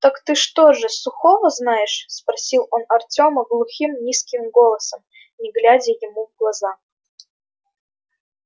так ты что же сухого знаешь спросил он артёма глухим низким голосом не глядя ему в глаза